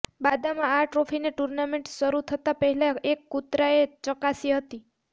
બાદમાં આ ટ્રોફીને ટૂર્નામેન્ટ શરૂ થતા પહેલા એક કૂતરાંએ ચકાસી હતી